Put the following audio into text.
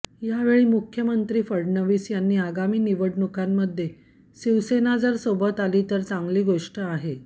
यावेळी मुख्यमंत्री फडणवीस यांनी आगामी निवडणुकीमध्ये शिवसेना जर सोबत आली तर चांगली गोष्ट आहे